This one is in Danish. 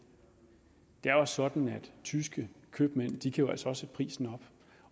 det er sådan at tyske købmænd jo altså sætte prisen op